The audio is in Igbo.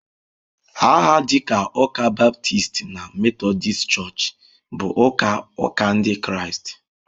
Aha dịka Ụka ​​Baptist na Methodist Church bụ ụka ụka Ndị Kraịst.